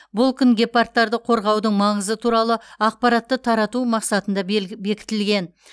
бұл күн гепардтарды қорғаудың маңызы туралы ақпаратты тарату мақсатында бекітілген